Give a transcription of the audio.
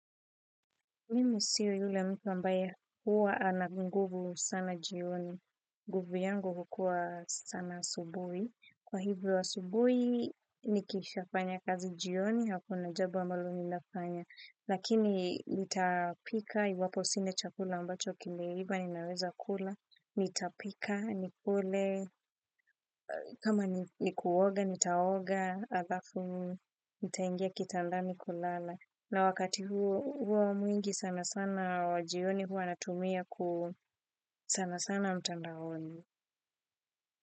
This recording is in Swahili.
Mimi siyo yule mtu ambaye huwa ana nguvu sana jioni. Nguvu yangu hukua sana asubui. Kwa hivyo asubui, nikisha fanya kazi jioni, hako na jambolo ninafanya. Lakini nitapika, iwapo sine chakula ambacho kile hiba, ninaweza kula. Nitapika, nikule, kama nikuoga, nitaoga, alafu, nitaingia kitandami kulala. Na wakati huo mwingi sana sana wajioni huo natumia ku sana sana mtandaoni.